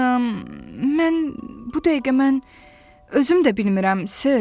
Mən bu dəqiqə mən özüm də bilmirəm sir.